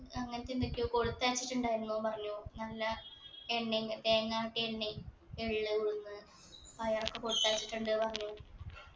അങ്ങത്തെ എന്തൊക്കെയോ കൊടുത്തയച്ചിട്ടുണ്ടായിന്നു പറഞ്ഞു നല്ല എണ്ണയും തേങ്ങ ആട്ടിയ എണ്ണയും എള്ള് ഉഴുന്ന് പയറൊക്കെ കൊടുത്തയച്ചിട്ടുണ്ട് പറഞ്ഞു